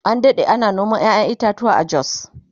an Dade ana noman ƴaƴan itatuwa a jos